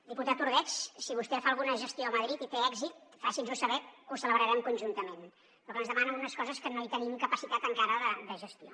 diputat ordeig si vostè fa alguna gestió a madrid i té èxit faci’ns ho saber que ho celebrarem conjuntament però clar ens demana unes coses que no hi tenim capacitat encara de gestió